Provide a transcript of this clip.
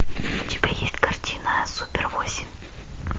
у тебя есть картина супер восемь